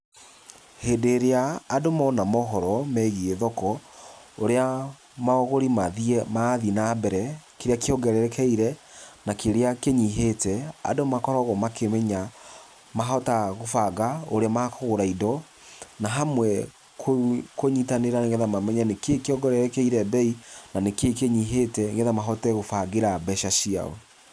Hĩndĩ ĩrĩa andũ mona mohoro megiĩ thoko ũrĩa maũgũri marathiĩ na mbere, kĩrĩa kĩongererekeire na kĩrĩa kĩnyihĩte. Andũ makoragwo makĩmenya mahota gũbanga ũrĩa makũgũra indo na hamwe kũnyitanĩra nĩ getha mamenye nĩkĩĩ kĩongererekeire mbei na nĩkĩĩ kĩnyihĩte nĩ getha mahote gũbangĩra mbeca ciao.